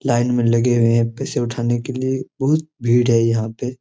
Line में लगे हुए है पैसे उठाने के लिए बहुत भीड़ है यहां पे।